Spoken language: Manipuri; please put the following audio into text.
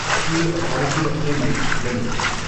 steel authority of India limited